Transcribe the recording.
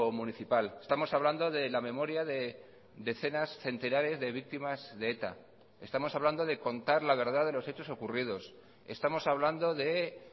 municipal estamos hablando de la memoria de decenas centenares de víctimas de eta estamos hablando de contar la verdad de los hechos ocurridos estamos hablando de